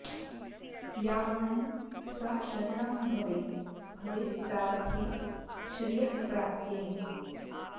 या वाणी सा शरणं भवे भवे प्रार्थ्ये श्रियःप्राप्त्यै